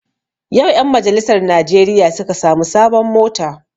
Yau ƴan majalisar najeriya suka sami sabon mota